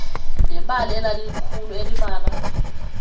nebala elalilikhulu elibala